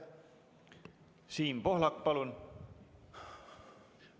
Siim Pohlak, palun!